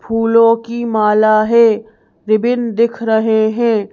फूलों की माला है रिबिन दिख रहे हैं।